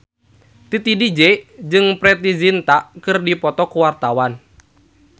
Titi DJ jeung Preity Zinta keur dipoto ku wartawan